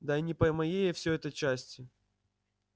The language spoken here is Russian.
да и не по моей всё это части